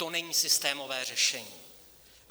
To není systémové řešení.